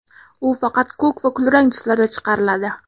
U faqat ko‘k va kulrang tuslarda chiqariladi.